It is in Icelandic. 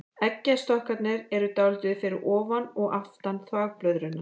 Eggjastokkarnir eru dálítið fyrir ofan og aftan þvagblöðruna.